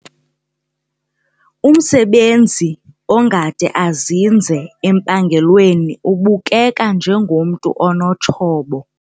Umsebenzi ongade azinze empangelweni ubukeka njengomntu onotshobo.